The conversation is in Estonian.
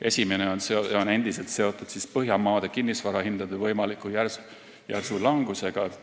Esimene on endiselt seotud Põhjamaade kinnisvarahindade võimaliku järsu langusega.